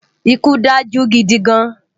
Ikú dájú gidi gán